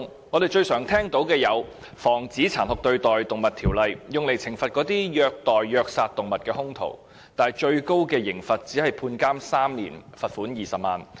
我們經常聽到的《防止殘酷對待動物條例》，是用來懲罰虐待和虐殺動物的兇徒的，但最高刑罰只是監禁3年及罰款20萬元。